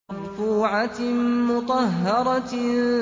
مَّرْفُوعَةٍ مُّطَهَّرَةٍ